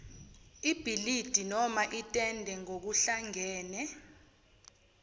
ibhilidi nomaitende ngokuhlangene